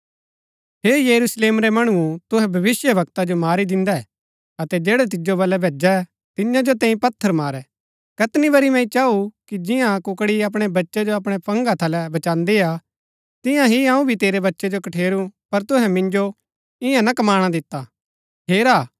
हे यरूशलेम रै मणुओ तुहै भविष्‍यवक्ता जो मारी दिन्दै अतै जैड़ै तिजो बलै भैजै तियां जो तैंई पत्थर मारै कैतनी बरी मैंई चाऊ कि जियां कुकड़ी अपणै बच्चै जो अपणै पंखा थलै बचान्दीआ तिईआं ही अऊँ भी तेरै बच्चै जो कठेरू पर तुहै मिन्जो ईयां ना कमाणा दिता